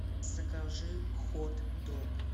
закажи хот дог